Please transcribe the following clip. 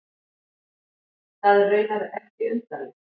Það er raunar ekki undarlegt.